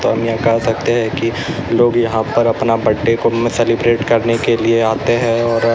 हम यहां कह सकते है कि लोग यहां पर अपना बर्थडे को भी सेलिब्रेट करने के लिए आते हैं और--